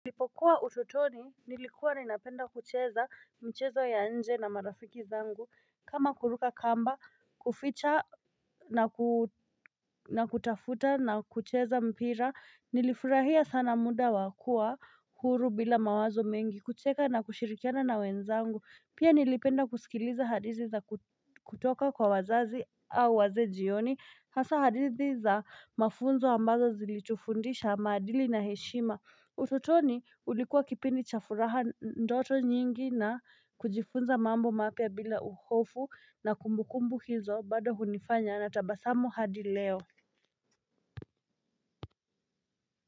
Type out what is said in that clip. Nilipokuwa ututoni, nilikuwa ninapenda kucheza mchezo ya nje na marafiki zangu, kama kuruka kamba, kuficha na kutafuta na kucheza mpira, nilifurahia sana muda wakua huru bila mawazo mengi kucheka na kushirikiana na wenzangu, pia nilipenda kusikiliza hadithi za kutoka kwa wazazi au wazee jioni, hasa hadithi za mafunzo ambazo zilitufundisha maadili na heshima utotoni ulikuwa kipindi cha furaha ndoto nyingi na kujifunza mambo mapya bila hofu na kumbukumbu hizo bado hunifanya na tabasamu hadi leo.